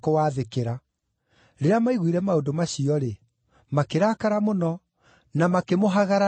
Rĩrĩa maiguire maũndũ macio-rĩ, makĩrakara mũno, na makĩmũhagaranĩria magego.